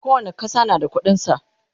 kowani ƙasa na da ƙuɗin sa